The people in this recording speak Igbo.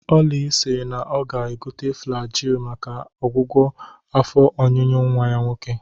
Oly siri na ọ ga-egote Flajil maka ọgwụgwọ afọ ọnyụnyụ nwa ya nwoke